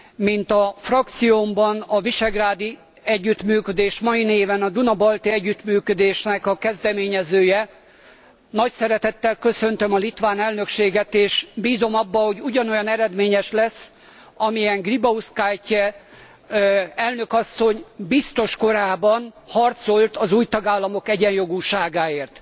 Mint a frakciómban a visegrádi együttműködés, mai néven a Duna Balti Együttműködés kezdeményezője, nagy szeretettel köszöntöm a litván elnökséget, és bízom abban, hogy ugyanolyan eredményes lesz, amilyen Grybauskaite elnök asszony volt biztos korában, amikor harcolt az új tagállamok egyenjogúságáért.